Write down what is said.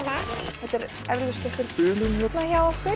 þetta er eflaust einhver bilun hérna hjá okkur